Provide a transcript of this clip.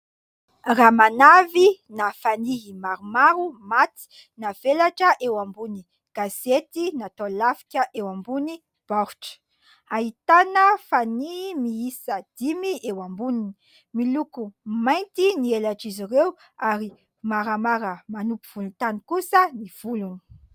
Ramanavy na fanihy maromaro maty navelatra eo ambony gazety natao lafika eo ambony baoritra, ahitana fanihy miisa dimy eo amboniny miloko mainty ny elatr' izy ireo ary maramara manompo vonintany kosa ny volony.